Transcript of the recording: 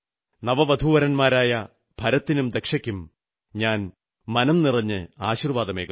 നവവധൂവരന്മാരായ ഭരത്തിനും ദക്ഷയ്ക്കും ഞാൻ മനംനിറഞ്ഞ് ആശീർവ്വാദമേകുന്നു